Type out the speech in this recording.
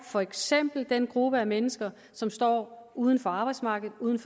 for eksempel er en gruppe mennesker som står uden for arbejdsmarkedet og uden